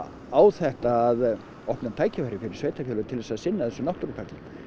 á þetta að opna tækifæri fyrir sveitarfélög til að sinna þessum náttúruperlum